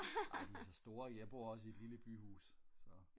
nej de er for store jeg bor også i et lille byhus så